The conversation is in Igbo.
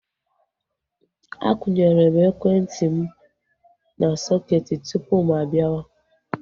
Akwunyere m ekwentị m na sọketi tupu mụ-abiawa